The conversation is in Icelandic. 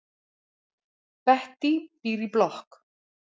Bettý býr í blokk.